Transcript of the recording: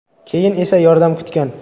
Keyin esa yordam kutgan.